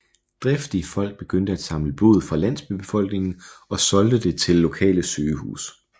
Driftige folk begyndte at samle blod fra landsbybefolkningen og solgte det til lokale sygehus